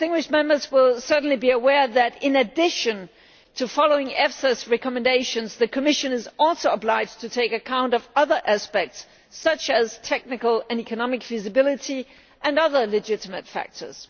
Members will certainly be aware that, in addition to following EFSA's recommendations, the Commission is also obliged to take account of other aspects, such as technical and economic feasibility and other legitimate factors.